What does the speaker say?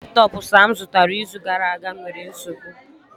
Laptọọpụ Sam zụtara izu gara aga nwere nsogbu